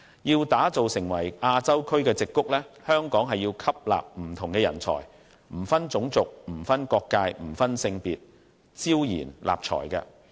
要打造成亞洲區的矽谷，香港要吸納不同的人才，不分種族、不分國界、不分性別，招賢納才。